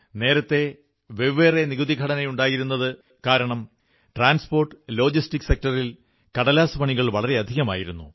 നേരത്തെ വെവ്വേറെ നികുതിഘടനയുണ്ടായിരുന്നതു കാരണം ട്രാൻസ്പോർട്ട്ലോജിസ്റ്റിക് സെക്ടറിൽ കടലാസുപണികൾ വളരെയധികമായിരുന്നു